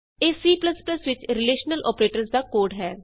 ਇਹ C ਵਿਚ relational operators ਦਾ ਕੋਡ ਹੈ